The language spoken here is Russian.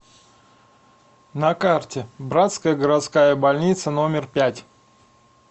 на карте братская городская больница номер пять